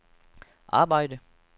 arbejde